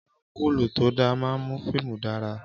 Áǹgùrù tó da máa ń mú fíìmù dára